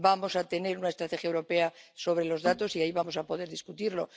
Vamos a tener una estrategia europea sobre los datos y ahí vamos a poder debatirlo.